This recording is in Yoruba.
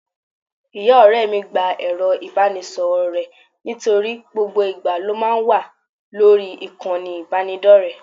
Ìyá ọ̀rẹ́ mi gba ẹ̀rọ ìbánisọ̀rọ̀ rẹ̀ nítorí gbogbo ìgbà ló máa ń wà lórí ìkànnì ìbánidọ́rẹ̀ẹ́